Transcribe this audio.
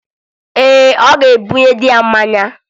Ee, ọ ga-ebunye dị ya mmanya